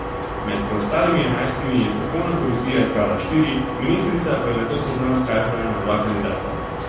Med preostalimi enajstimi je strokovna komisija izbrala štiri, ministrica pa je nato seznam skrajšala na dva kandidata.